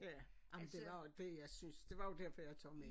Ja ej men det var også det jeg synes det var derfor jeg tog med